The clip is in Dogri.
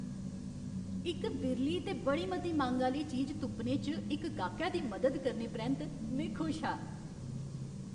इक बिरली ते बड़ी मती मंग आह्‌ली चीज तुप्पने च इक गाह्कै दी मदद करने परैंत्त, में खुश हा।